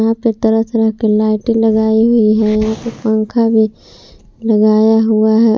यहां पे तरह तरह की लाइटें लगाई हुई हैं यहां पे पंखा भी लगाया हुआ है।